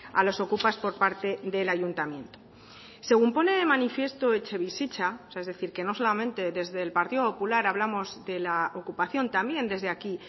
a los okupas por parte del ayuntamiento según pone de manifiesto etxebizitza o sea es decir que no solamente desde el partido popular hablamos de la ocupación también desde aquí